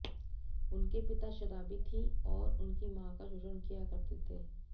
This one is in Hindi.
उनके पिता शराबी थी और उनकी मां का शोषण किया करते थे